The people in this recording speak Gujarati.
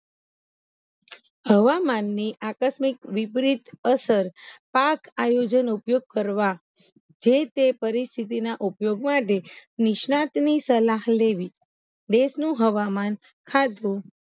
હવામાનની આકસ્મિક વિપરીત અસર પાક આયોઅજ્ન ઉપયોગ કરવા જે તે પરિસ્થિતિ ના ઉપયોગ માટે નિષ્ણાંત ની સલાહ લેવી દેસ નુ હવામાન ખાધવું